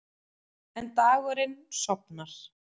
En dagurinn sofnar.